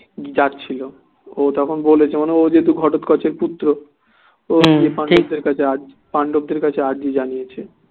যাচ্ছিলো ও তখন বলেছে ও যেহেতু ঘটোৎকচের পুত্র ও পাণ্ডবদের কাছে পাণ্ডবদের কাছে আর্জি জানিয়েছে